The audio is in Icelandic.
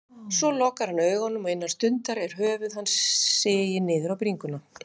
Svo lokar hann augunum og innan stundar er höfuð hans sigið niður á bringu.